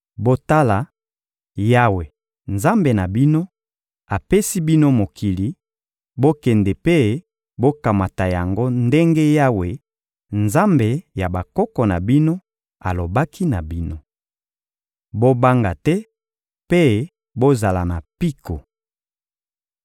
Botala, Yawe, Nzambe na bino, apesi bino mokili; bokende mpe bokamata yango ndenge Yawe, Nzambe ya bakoko na bino, alobaki na bino. Bobanga te mpe bozala na mpiko.